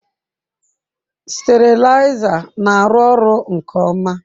Steriliser na-arụ ọrụ nke ọma.